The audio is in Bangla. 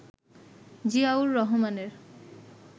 জিয়াউর রহমানের